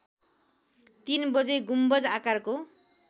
३ बजे गुम्बज आकारको